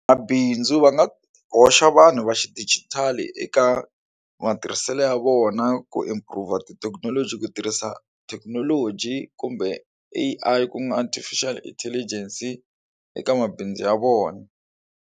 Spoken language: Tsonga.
Mabindzu va nga hoxa vanhu va xidijitali eka matirhiselo ya vona ku improve tithekinoloji ku tirhisa thekinoloji kumbe A_I ku nga Artificial Intelligence eka mabindzu ya vona.